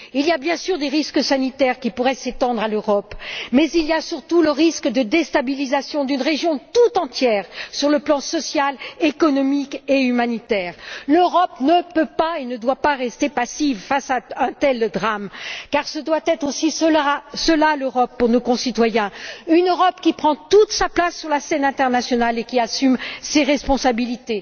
Il y a bien sûr des risques sanitaires qui pourraient s'étendre à l'Europe, mais il y a surtout le risque d'une déstabilisation d'une région toute entière sur le plan social, économique et humanitaire. L'Europe ne peut pas et ne doit pas rester passive face à un tel drame, car ce doit être aussi cela l'Europe pour nos concitoyens une Europe qui prend toute sa place sur la scène internationale et qui assume ses responsabilités.